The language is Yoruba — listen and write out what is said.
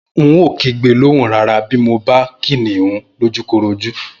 N óò kígbe lóhùn rara bí mo bá Kìnìún lójúkorojú